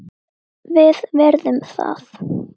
Við virðum það.